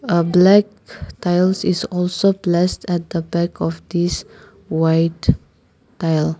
a black tiles is also placed at the back of these white tile.